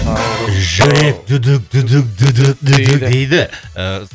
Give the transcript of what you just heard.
жүрек дейді ыыы